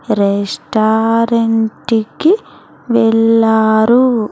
Restaurant కి వెళ్లారు.